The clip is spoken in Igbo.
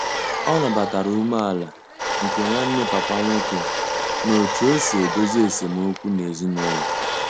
O nabatatara umeala nke Nwanne papa nwoke n'otu osi edezo esem okwu n'ezinulo